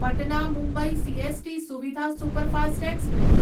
Patna Mumbai CST Suvidha superfast express